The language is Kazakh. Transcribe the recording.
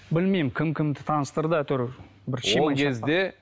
білмеймін кім кімді таныстырды әйтеуір кезде